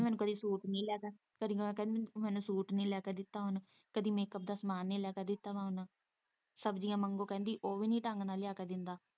ਕਹਿੰਦੀ ਮੈਨੂੰ ਕਦੀ ਸੂਟ ਨੀ ਲੈ ਕੇ ਦਿੱਤਾ ਉਹਨੇ, ਕਦੀ ਮੇਕਅਪ ਦਾ ਸਾਮਾਨ ਨੀ ਲੈ ਕੇ ਦਿੱਤਾ ਵਾ, ਉਹਨੇ ਸ਼ਬਜ਼ੀਆਂ ਮੰਗੋ ਉਹ ਵੀ ਨੀ ਢੰਗ ਨਾਲ਼ ਲਿਆ ਕੇ ਦਿੰਦਾ।